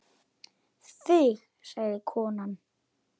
Þig sagði konan.